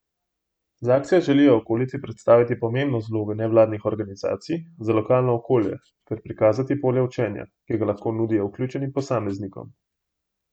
Z akcijo želijo okolici predstaviti pomembnost vloge nevladnih organizacij za lokalno okolje ter prikazati polje učenja, ki ga lahko nudijo vključenim posameznikom.